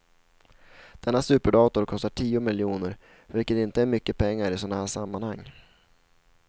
Denna superdator kostar tio miljoner, vilket inte är mycket pengar i sådana här sammanhang.